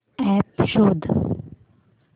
app शोध